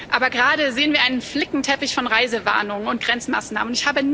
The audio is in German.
Aber gerade sehen wir einen Flickenteppich von Reisewarnungen und Grenzmaßnahmen.